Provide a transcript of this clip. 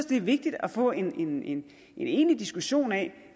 det er vigtigt at få en en egentlig diskussion af